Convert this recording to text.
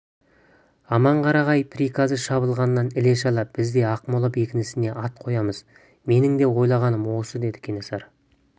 аманқарағай приказы шабылғаннан іле-шала біз де ақмола бекінісіне ат қоямыз менің де ойлағаным осы деді кенесары